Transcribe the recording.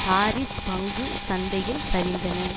Paris பங்கு சந்தையில் சரிந்தன